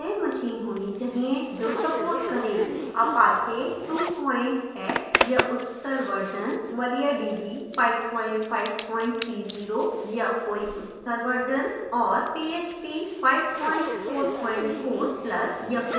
apache 2 x या उच्चतर version